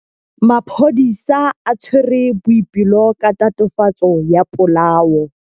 Maphodisa a tshwere Boipelo ka tatofatsô ya polaô.